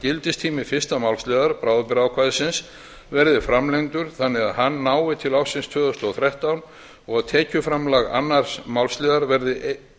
gildistími fyrsta málsliðar bráðabirgðaákvæðisins verði framlengdur þannig að hann nái til ársins tvö þúsund og þrettán og tekjuframlag annars málsliðar verði